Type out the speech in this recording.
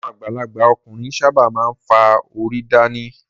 Àwọn àgbàlagbà ọkùnrin ṣábà máa ń fá orí dán ni.